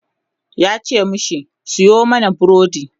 yace mashi "Sayo mani burodi!"